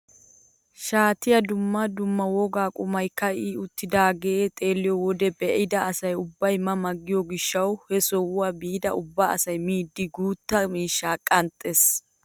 Shaatiyaa dumma dumma woga qumay ka'i uttidaagee xeelliyoo wode be'ida asa ubba ma ma giyoo gishshawu he sohuwaa biidi ubba asay miidi guutta miiishshaa qanxxees!